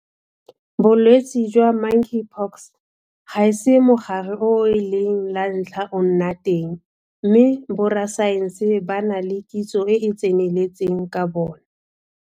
Bolwetse jwa Monkeypox ga se mogare o e leng la ntlha o nna teng mme borasaense ba na le kitso e e tseneletseng ka bona.